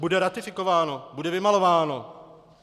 Bude ratifikováno, bude vymalováno.